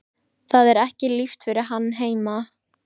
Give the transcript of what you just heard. Það er ekki líft fyrir hann heima.